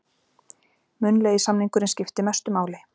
Munnlegi samningurinn skiptir mestu máli